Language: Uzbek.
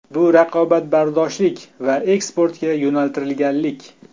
Bu raqobatbardoshlik va eksportga yo‘naltirilganlik.